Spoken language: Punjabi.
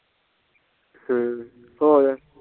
ਹਮ ਹੋਰ